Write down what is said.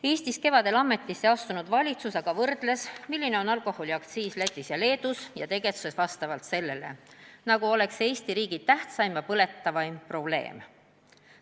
Eestis kevadel ametisse astunud valitsus aga võrdles, milline on alkoholiaktsiis Lätis ja Leedus, ning tegutses vastavalt sellele, nagu oleks see Eesti riigi tähtsaim ja põletavaim probleem.